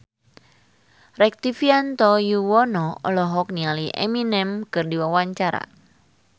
Rektivianto Yoewono olohok ningali Eminem keur diwawancara